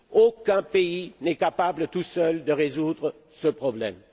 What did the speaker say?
Aucun pays n'est capable à lui seul de résoudre ce problème.